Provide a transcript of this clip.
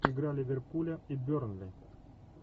игра ливерпуля и бернли